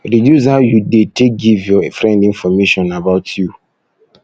reduce how you de take give your friend information about you